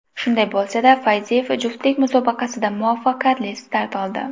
Shunday bo‘lsa-da, Fayziyev juftlik musobaqasida muvaffaqiyatli start oldi.